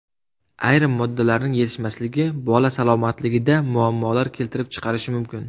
Ayrim moddalarning yetishmasligi bola salomatligida muammolar keltirib chiqarishi mumkin.